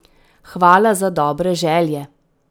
Hvala za dobre želje!